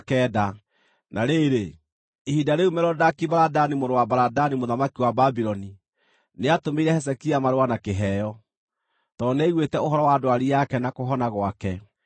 Na rĩrĩ, ihinda rĩu Merodaki-Baladani mũrũ wa Baladani mũthamaki wa Babuloni nĩatũmĩire Hezekia marũa na kĩheo, tondũ nĩaiguĩte ũhoro wa ndwari yake na kũhona gwake.